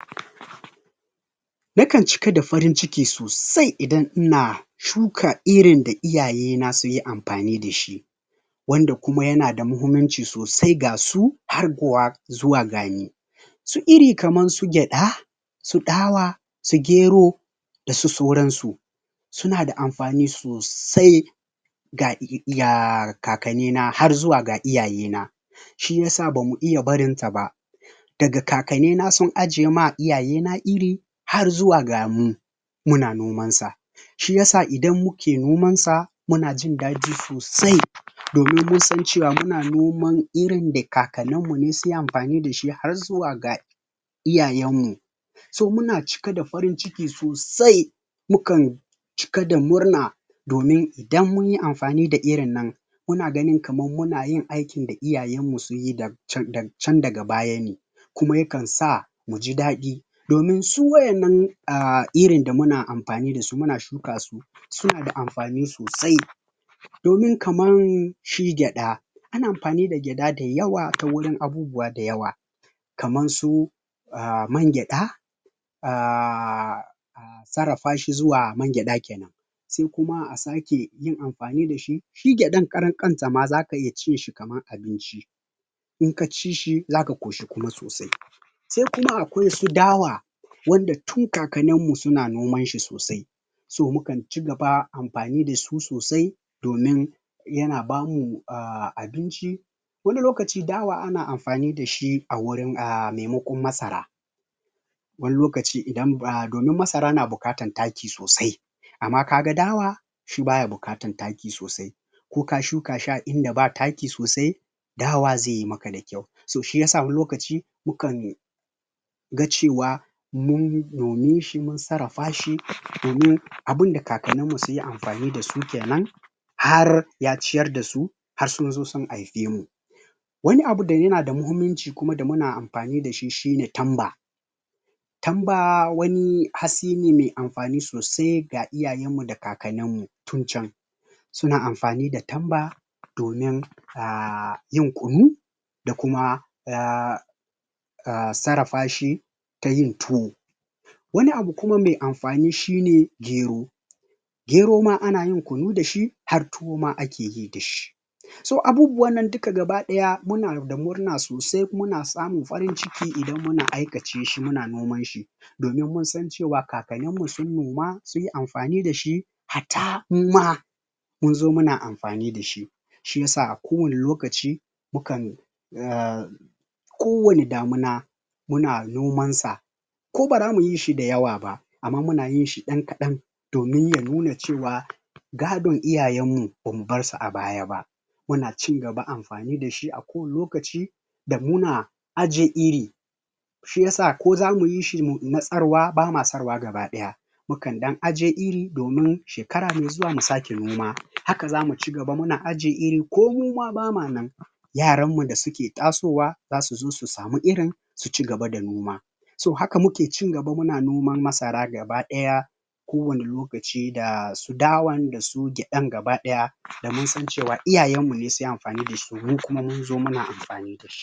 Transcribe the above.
Nakan cika da farin ciki sosai idan ina, Shuka irin da iyaye na suyi amfani dashi Wanda kuma yana da mahimmanci sosai gasu harguwa Zuwa gani Su iri kaman su gyada Su dawa Su gero Dasu sauran su Suna da amfani sosai ga um Kakanni na har zuwa ga iyaye na Shiyasa bamu iya barinta ba Daga kakanni na sun ajema iyaye na iri Har zuwa gamu Muna noman sa Shiyasa idan muke nomansa Muna jin dadi sosai Domun munsan cewa muna noman irin da kakannin mune sunyi amfani dashi harzuwa ga Iyayen mu So, muna jika da farin ciki sosai Mukan Cika da murna Domin idan munyi amfani da irin nan Muna ganin kaman munayin aikin da iyayen mu sunyi da Da can da can daga baya ne Kuma yakan sa Muji dadi Domin su wa'innan um iri da muna amfani dasu muna shuka su Suna amfani sosai Domin kaman shi gyada Ana amfani da gyada da yawa tawurin abubuwa dayawa kaman su um man gyada um um sarrafashi zuwa man gyada kenan Sai kuma a sake yin amfani dashi Shi gyadan karan kanshi ma zaka iya cinshi kaman abinci Inka cishi zaka ƙoshi kuma sosai Sai kuma akwai wasu dawa Wanda tun kakannin mu suna nomanshi sosai So mukan cigaba da amfani dasu sosai Domin Yana bamu um abinci Wani lokaci dawa ana amfani dashi a wurin um maimakon masara Wani lokaci idan ba domin masara na buƙatar taki sosai Amma kaga dawa Shi baya bukatar taki sosai Koka shuka shi a inda ba taki sosai Dawa zai maka dakyau To shiyasa wani lokaci mukan Ga cewa Mun nome shi mun sarrafashi domin Abunda kakannin mu sunyi amfani dasu kenan Har ya ciyar dasu Har sunzo sun haife mu Wani abu da yana da mahimmanci kuma da muna amfani dashi shine tamba, Tamba wani hatsi ne mai amfani sosai ga iyayen mu da kakannin mu tun can Suna amfani d tamba Domin um yin kunu Da kuma um um sarrafashi Tayin tuwo Wani abu kuma mai amfani shine gero Gero ma anayin kunu dashi har tuwo ma akeyi dashi So abubuwan nan duka gaba daya muna da murna sosai muna samun farin ciki idan muna aikace shi muna noman shi Domin munsan cewa kakannin mu sun noma Sunyi amfani dashi hatta muma munzo muna amfani dashi Shiyasa kowane lokaci Mukan um Kowane damuna Muna noman sa Ku bara muyishi da yawa ba Amma muna yinshi dan kadan Domin ya nuna cewa Gadon iyayen mu bamu barsu a baya ba Muna cin gaba amfani dashi a kowane lokaci da muna Aje iri Shiyasa ko zamu yishi na tsarwa bama sarwa gaba daya Mukan dan aje iri domin Shekara mai zuwa mu sake noma haka zamu ci gaba muna aje iri ko kuma bama nan Yaran mu da suke tasowa Zasu zo su samu irin Su ci gaba da noma So haka muke cin gaba muna noman masara gaba daya Kowane lokaci dasu dawan dasu gyadan gaba daya Damunsan cewa iyayen mune sunyi amfani dashi mukuma munzo muna amfani dashi.